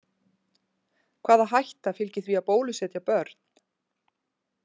Hvaða hætta fylgir því að bólusetja börn?